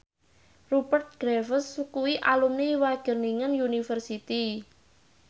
Rupert Graves kuwi alumni Wageningen University